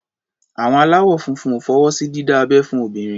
Àwọn aláwọ̀ funfun ò fọwọ́ sí dídá abẹ́ fún obìnrin.